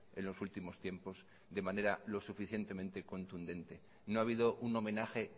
en los últimos tiempos de manera lo suficientemente contundente no ha habido un homenaje